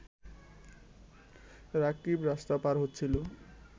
রাকিব রাস্তা পার হচ্ছিল